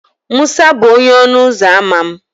Musa bụ onye ọnụ ụzọ ámá m.